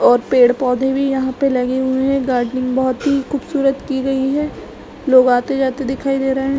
और पेड़-पौधे भी यहाँ पे लगे हुए है। गार्डनिंग बहुत ही खूबसूरत की गई है। लोग आते-जाते दिखाई दे रहे है।